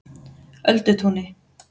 Öldutúni